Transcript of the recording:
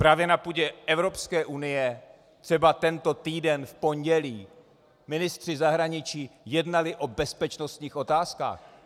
Právě na půdě Evropské unie třeba tento týden v pondělí ministři zahraničí jednali o bezpečnostních otázkách.